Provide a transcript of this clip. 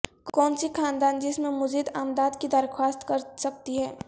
کون سی خاندان جس میں مزید امداد کی درخواست کرسکتی ہے